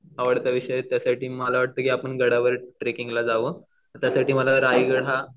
आवडता विषय आहे त्यामुळे मला असं वाटतं की आपण गडावर ट्रेकिंगला जावं त्यासाठी मला रायगड हा